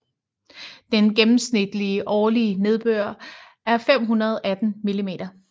Den gennemsnitlige årlige nedbør er 518 mm